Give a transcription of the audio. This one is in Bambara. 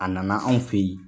A nana anw fɛ yen